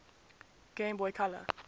game boy color